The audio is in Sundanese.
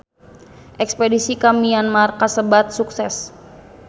Espedisi ka Myanmar kasebat sukses